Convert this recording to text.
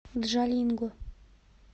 джалинго